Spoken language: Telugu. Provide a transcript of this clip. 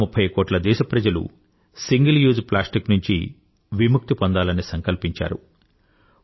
130కోట్ల దేశప్రజలు సింగిల్ యూజ్ ప్లాస్టిక్ నుంచి విముక్తి పొందాలని సంకల్పించారు